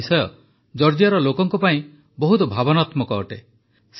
ଏହି ବିଷୟ ଜର୍ଜିଆର ଲୋକଙ୍କ ପାଇଁ ବହୁତ ଭାବନାତ୍ମକ ଅଟେ